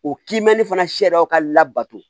O kiimɛni fana sariyaw ka labato